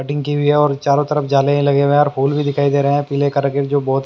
cutting की हुई है और चारों तरफ जाले ही लगे हुए हैं और फूल भी दिखाई दे रहे हैं प्ले करके जो बहुत--